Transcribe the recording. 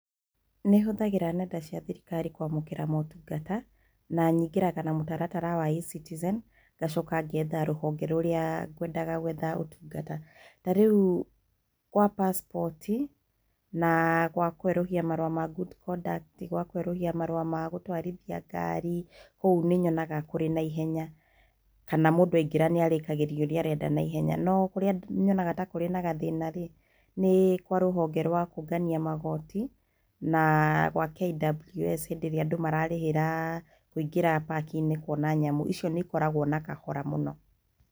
Nĩhũthagĩra nenda cia thirikari kwamũkĩra motungata, na nyingĩraga na mũtaratara wa eCitizen, ngacoka ngetha rũhonge rũrĩa kwendaga gwetha ũtungata, ta rĩu gwa pacipoti, na gwa kwerũhia marũa ma good conduct, gwa kwerũhia marũa ma gũtwarithia ngari, kũu nĩnyonaga kũrĩ na ihenya kana mũndũ aingĩra nĩarĩkagĩrio ũrĩa arenda na ihenya, no kũrĩa nyonaga ta kũrĩ na gathĩna-rĩ nĩ kwa rũhonge rwa kũũngania magoti, na gwa KWS hĩndĩ ĩrĩa andũ mararĩhĩra kũingĩra park-inĩ kuona nyamũ icio nĩikoragwo na kahora mũno.